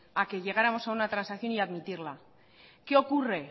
a que llegáramos a una transacción y admitirla qué ocurre